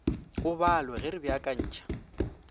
o balwe ge re beakantšha